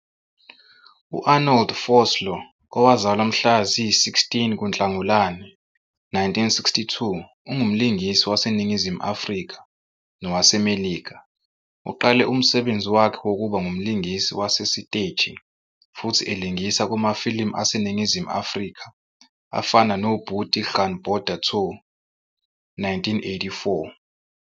U-Arnold Vosloo, owazalwa mhla zi-16 kuNhlagulane 1962, ungumlingisi waseNingizimu Afrika nowaseMelika. Uqale umsebenzi wakhe wokuba ngumlingisi wasesiteji futhi elingisa kumafilimu aseNingizimu Afrika afana noBoetie "Gaan Border Toe", 1984.